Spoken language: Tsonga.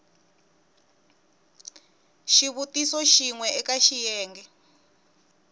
xivutiso xin we eka xiyenge